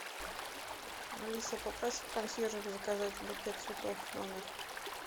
алиса попроси консьержа заказать букет цветов в номер